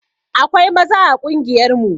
Akwai maza a ƙungiyar mu